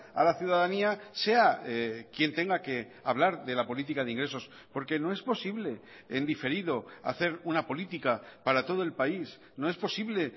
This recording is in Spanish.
a la ciudadanía sea quien tenga que hablar de la política de ingresos porque no es posible en diferido hacer una política para todo el país no es posible